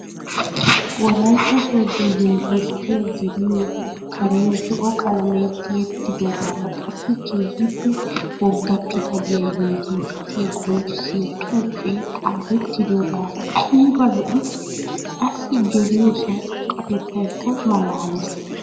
Wolaytta soodo yunbbersttiya geliyo kare zo'o qalame tiyettidogara qassi keehippe wogga pitaliya yunbbursttiya qonccissiya xuufe xaafettidogara aybba lo'i! Qassi geliyosa xoqatettaykka malaales.